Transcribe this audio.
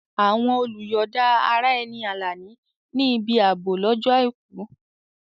Àwọn olùyọ̀da ara ẹni Alani ní ibi ààbò lọ́jọ́ Àìkú.